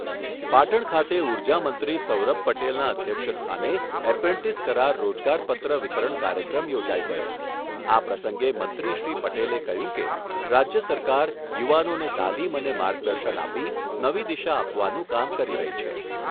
પાટણ ખાતે ઉર્જા મંત્રી સૌરભ પટેલના અધ્યક્ષસ્થાને એપ્રેન્ટિસ કરાર રોજગાર પત્ર વિતરણ કાર્યક્રમ યોજાઈ ગયો આ પ્રસંગે મંત્રીશ્રી પટેલે કહ્યું કે, રાજ્ય સરકાર યુવાનોને તાલીમ અને માર્ગદર્શન આપી નવી દિશા આપવાનું કામ કરી રહી છે.